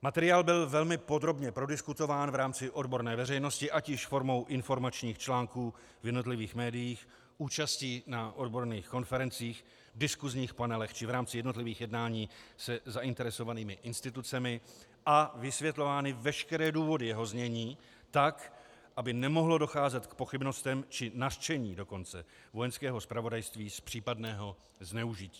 Materiál byl velmi podrobně prodiskutován v rámci odborné veřejnosti, ať již formou informačních článků v jednotlivých médiích, účastí na odborných konferencích, diskusních panelech, či v rámci jednotlivých jednání se zainteresovanými institucemi, a vysvětlovány veškeré důvody jeho znění tak, aby nemohlo docházet k pochybnostem, či nařčení dokonce Vojenského zpravodajství z případného zneužití.